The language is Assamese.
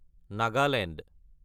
নাগালেণ্ড